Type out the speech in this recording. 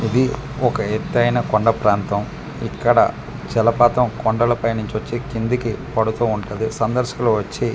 ఇది ఒక ఎత్తైన కొండ ప్రాంతం ఇక్కడ జలపాతం కొండల పై నుంచి వచ్చి కిందికి పడుతు ఉంటాది సందర్శులు వచ్చి .